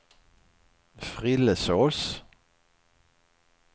Frillesås